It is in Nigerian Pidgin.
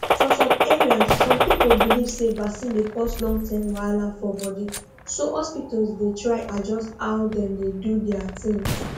for some areas some people believe say vaccine dey cause longterm wahala for body so hospitals dey try adjust how dem dey do their things